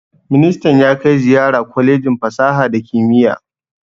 Ministan ya kai ziyara kwalejin fasaha da kimiyya